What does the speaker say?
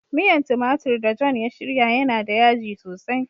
Miyan tumatur da "John" ya shirya yana da yaji sosai.